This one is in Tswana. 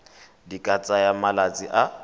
di ka tsaya malatsi a